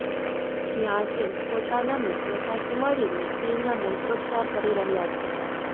જ્યાં તે પોતાના મિત્રો સાથે મળીને શિવના મંત્રોચ્ચાર કરી રહ્યા છે